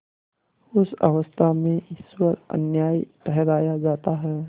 उस अवस्था में ईश्वर अन्यायी ठहराया जाता है